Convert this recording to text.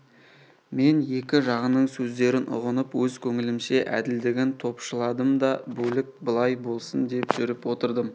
мен екі жағының сөздерін ұғынып өз көңілімше әділдігін топшыладым да бөлік былай болсын деп жүріп отырдым